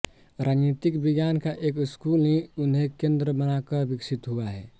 राजनीति विज्ञान का एक स्कूल ही उन्हें केंद्र बनाकर विकसित हुआ है